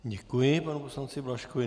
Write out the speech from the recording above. Děkuji panu poslanci Blažkovi.